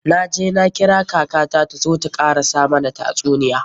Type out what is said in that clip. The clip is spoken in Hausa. Na je na kira kaka ta zo ta karasa mana tasuniya.